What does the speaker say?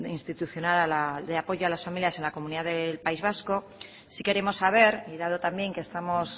institucional de apoyo a las familias en la comunidad autónoma del país vasco sí queremos saber y dado también que estamos